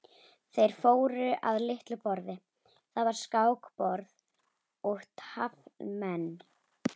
Þeir fóru að litlu borði, þar var skákborð og taflmenn.